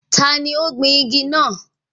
Taani ó gbìn igi náà?